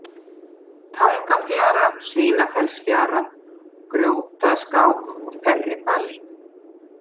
Tangafjara, Svínafellsfjara, Grjótaskák, Þerribali